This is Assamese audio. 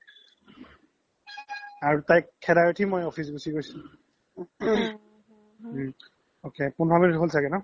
আৰু তাইক খেদাই উথি মই office গুচি গৈছো ‌‌ ok পোন্ধৰ minute হ্'ল চাগে ন